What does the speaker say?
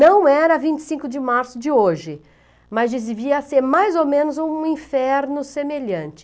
Não era a vinte e cinco de março de hoje, mas devia ser mais ou menos um inferno semelhante.